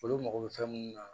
Olu mago bɛ fɛn mun na